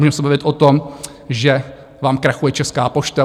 Můžeme se bavit o tom, že vám krachuje Česká pošta.